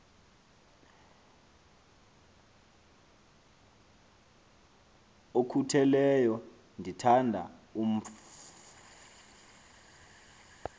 okhutheleyo ndithanda umf